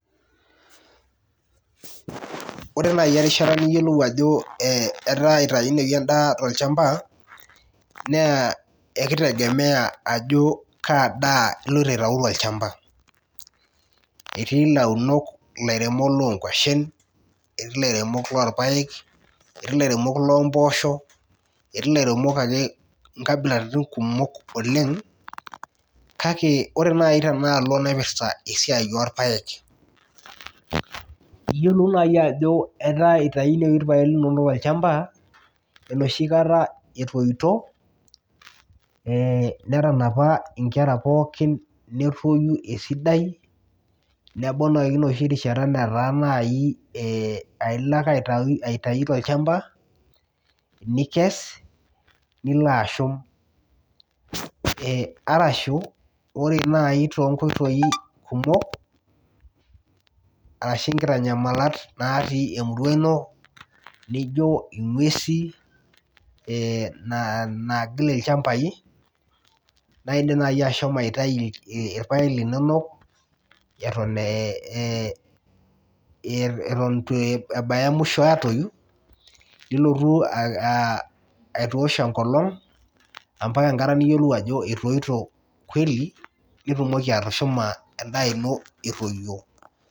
Ore nai erishata niyolo ajo etaa itaunoi endaa tolchamba naa ekitegemea ajo kaadaa iloito aitau tolchamba etii lairemok lonkwashen etii lairemok lorpaek etii lairemok nkabilaitin kumol oleng kake ore enaalo naipirta irpaek na yiolou nai ajo enoshibkata etoito netanapa nlera pooki netoyu esidai nebau enoshi rishata nataa nai ailo ake aitau tolchamba nikes nilo ashum arashu ore nai tonkoitoi kumol ashu nkitanyamal natii emurua ino nijo ingwesi na nagil ilchambai naindim nai ashomo aitau irpael linono atan ituebaya muisho nilotu aitosh enkolong nitumoki atushuma endaa ino etoyio.